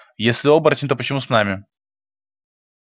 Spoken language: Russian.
если оборотень то почему с нами